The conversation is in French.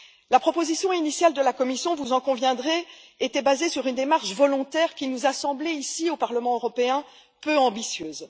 La proposition initiale de la Commission, vous en conviendrez était basée sur une démarche volontaire, qui nous a semblé, ici au Parlement européen, peu ambitieuse.